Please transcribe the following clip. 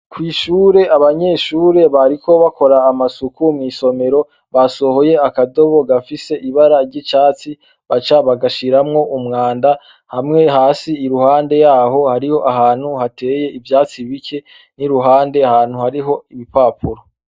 Kw'ishure, abanyeshure bariko bakora amasuku mw'isomero basohoye akadobo gafise ibara ry'icatsi baca bagashiramwo umwanda, hamwe hasi iruhande yaho hariyo ahantu hateye ivyatsi bike n'iruhande ahantu hariyo ibipapuro.